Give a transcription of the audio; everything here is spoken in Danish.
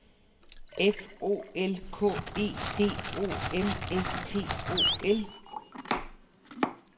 F O L K E D O M S T O L